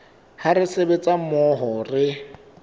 ha re sebetsa mmoho re